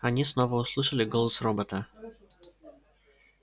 они снова услышали голос робота